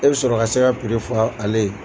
E bɛ sɔrɔ ka se ka fɔ ale ye.